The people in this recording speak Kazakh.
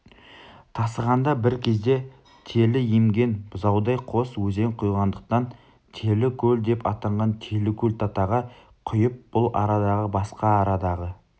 тасығанда бір кезде телі емген бұзаудай қос өзен құйғандықтан телікөл деп атанған телікөл-татаға құйып бұл арадағы басқа арадағы